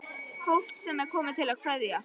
Fólk sem er komið til að kveðja.